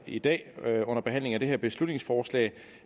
i dag under behandlingen af det her beslutningsforslag